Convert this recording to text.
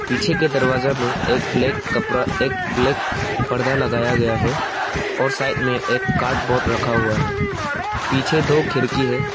पीछे के दरवाजा में एक ब्लैक कपड़ा एक ब्लैक परदा लगाया गया है और साइड में एक कार्डबोर्ड रखा हुआ है पीछे दो खिड़की है।